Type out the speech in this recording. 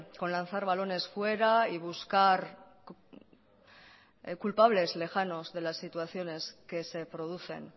con lanzar balones fuera y buscar culpables lejanos de las situaciones que se producen